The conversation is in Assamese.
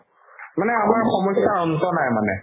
মানে আমাৰ সমস্যাৰ অন্ত নাই মানে